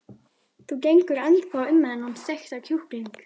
Þú gengur ennþá um með þennan steikta kjúkling.